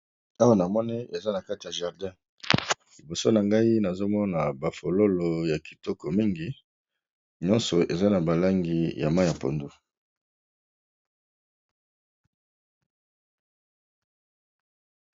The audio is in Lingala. awa na mone eza na kati ya jardin liboso na ngai nazomona bafololo ya kitoko mingi nyonso eza na balangi ya ma ya pondo